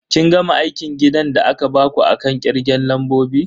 Kin gama aikin gidan da aka baku akan kirgen lambobi?